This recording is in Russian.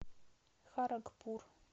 харагпур